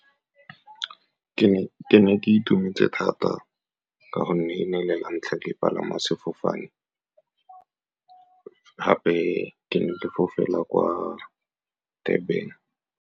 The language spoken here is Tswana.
Ke ne ke itumetse thata ka gonne e ne e le lantlha ke palama sefofane, gape ke ne ke fofela kwa Durban.